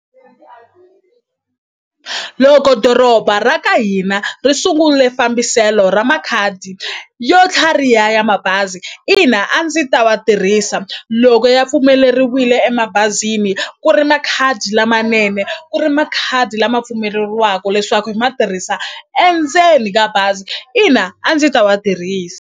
Loko doroba ra ka hina ri sungule fambiselo ra makhadi yo tlhariha ya mabazi ina a ndzi ta va tirhisa loko ya pfumeleriwile emabazini ku ri makhadi lamanene ku ri makhadi lama pfumeleriwaku leswaku hi ma tirhisa endzeni ka bazi ina a ndzi ta wa tirhisa.